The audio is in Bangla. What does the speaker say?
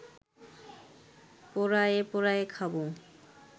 পোড়ায়ে পোড়ায়ে খাব